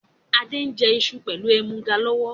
Adé ń jẹ iṣu pẹlu ẹmuga lọ́wọ́